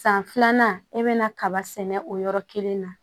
San filanan e bɛna kaba sɛnɛ o yɔrɔ kelen na